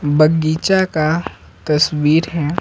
बगीचा का तस्वीर है।